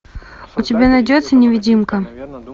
у тебя найдется невидимка